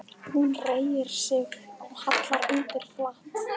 Hún reigir sig og hallar undir flatt.